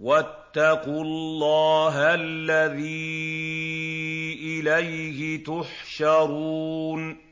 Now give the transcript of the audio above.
وَاتَّقُوا اللَّهَ الَّذِي إِلَيْهِ تُحْشَرُونَ